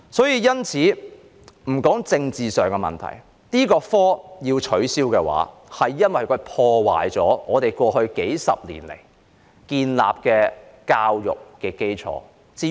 因此，我認為應該取消這個學科，因為它破壞了過去數十年來建立的教育基礎。